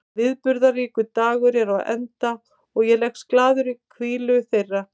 Viðburðaríkur dagur er á enda og ég leggst glaður í hvílu þeirra.